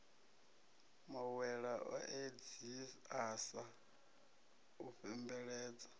mawela o edziasa u fhembeledza